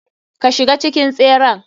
Ka shiga cikin tseren.